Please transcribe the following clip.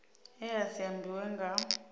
e a si ambiwe nga